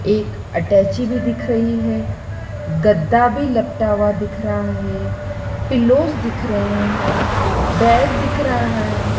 एक अटैची भी दिख रही है गद्दा भी लपटा हुआ दिख रहा है पिल्लोज़ दिख रहे हैं बैग दिख रहा है।